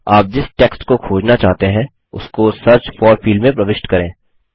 आप जिस टेक्स्ट को खोजना चाहते हैं उसको सर्च फोर फील्ड में प्रविष्ट करें